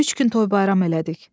Üç gün toy bayram elədik.